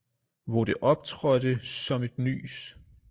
Hvor det optrådte som et nys